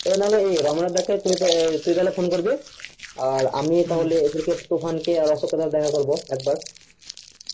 রোমনাথ দাকে তুই নোই তো phone করবি হ্যাঁ আমি তুফান আর অশোক কে দেখা করবো একবার